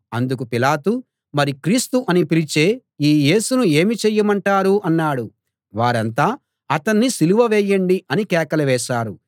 అందుకు పిలాతు మరి క్రీస్తు అని పిలిచే ఈ యేసును ఏమి చెయ్యమంటారు అన్నాడు వారంతా అతణ్ణి సిలువ వేయండి అని కేకలు వేశారు